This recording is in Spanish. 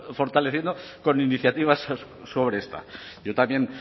fortaleciendo con iniciativas sobre esta yo también